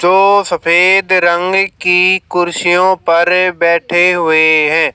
जो सफेद रंग की कुर्सियों पर बैठे हुए हैं।